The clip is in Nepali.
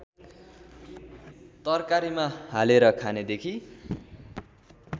तरकारीमा हालेर खानेदेखि